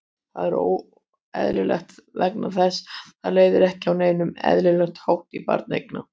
Það er óeðlilegt vegna þess að það leiðir ekki á neinn eðlilegan hátt til barneigna.